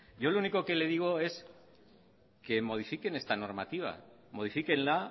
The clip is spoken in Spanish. yo lo único que le digo es que modifiquen esta normativa modifíquenla